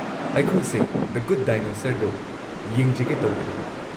ꯑꯩꯈꯣꯏꯁꯦ the good dinosaur ꯗꯣ ꯌꯦꯡꯖꯒꯦ ꯇꯧꯕꯅꯦ꯫